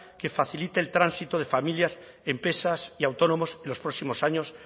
que facilite el tránsito de familias empresas y autónomos en los próximos años